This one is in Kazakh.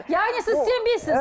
яғни сіз сенбейсіз